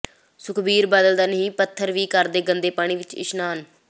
ਸੁਖਬੀਰ ਬਾਦਲ ਦਾ ਨੀਂਹ ਪੱਥਰ ਵੀ ਕਰਦੇ ਗੰਦੇ ਪਾਣੀ ਵਿੱਚ ਇਸ਼ਨਾਨ